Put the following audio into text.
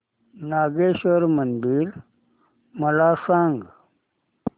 नागेश्वर मंदिर मला सांग